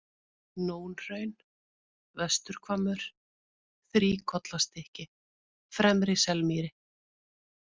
Nónhraun, Vesturhvammur, Þríkollastykki, Fremri-Selmýri